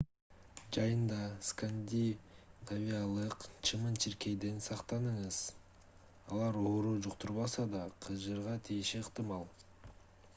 жайында скандинавиялык чымын-чиркейден сактаныңыз алар оору жуктурбаса да кыжырга тийиши ыктымал